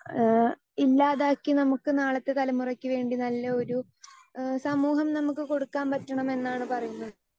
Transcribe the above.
Speaker 2 ഏഹ് ഇല്ലാതാക്കി നമുക്ക് നാളത്തെ തലമുറയ്ക്ക് വേണ്ടി നല്ല ഒരു ഏഹ് സമൂഹം നമുക്ക് കൊടുക്കാൻ പറ്റണം എന്നാണ് പറയുന്നത്.